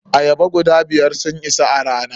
Ayaba guda biyar sun isa a rana.